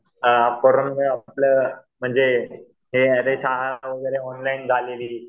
अ corona आपलं म्हणजे हे अरे शाळा वगैरे ऑनलाईन झालेली.